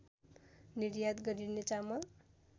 निर्यात गरिने चामल